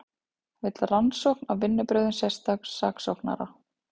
Vill rannsókn á vinnubrögðum sérstaks saksóknara